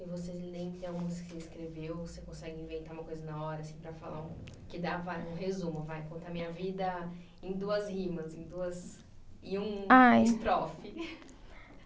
E você que escreveu, você consegue inventar uma coisa na hora, assim, para falar, que dá vai um resumo, vai, conta a minha vida em duas rimas, em duas, em um estrofe.